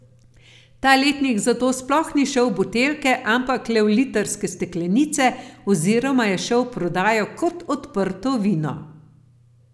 Ta letnik zato sploh ni šel v buteljke, ampak le v litrske steklenice oziroma je šel v prodajo kot odprto vino.